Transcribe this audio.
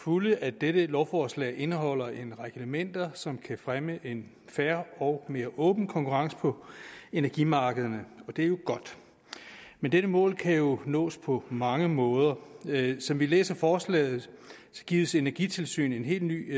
fulde at dette lovforslag indeholder en række elementer som kan fremme en fair og mere åben konkurrence på energimarkederne og det er jo godt men dette mål kan jo nås på mange måder som vi læser forslaget gives energitilsynet en helt ny